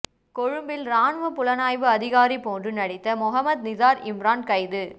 கொழும்பில் இராணுவ புலனாய்வு அதிகாரி போன்று நடித்த மொஹமட் நிசார் இம்ரான் கைது